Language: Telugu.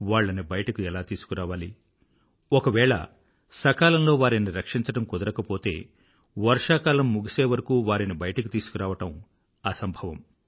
వాళ్లని బయటకు ఎలా తీసుకురావాలి ఒకవేళ సకాలంలో వారిని రక్షించడం కుదరకపోతే వర్షాకాలం ముగిసేవరకూ వారిని బయటకు తీసుకురావడం అసంభవం